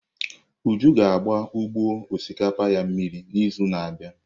Uju ga agba ugbo osịkapa ya mmiri n'izu na-abịa.